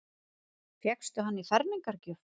Fékkstu hann í fermingargjöf?